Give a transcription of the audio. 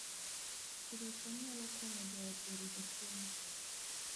Pidho cham nyalo konyo joot e rito chiemo